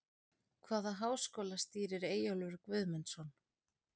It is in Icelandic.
Hvaða háskóla stýrir Eyjólfur Guðmundsson?